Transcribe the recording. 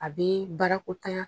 A bɛ baarako ta yan.